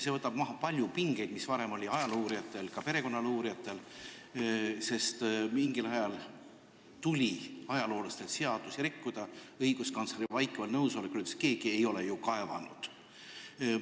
See võtab maha palju pingeid, mis varem olid ajaloo uurijatel, ka perekonnaloo uurijatel, sest mingil ajal tuli ajaloolastel seadusi rikkuda, seda õiguskantsleri vaikival nõusolekul, kes ütles, et keegi ei ole ju kaevanud.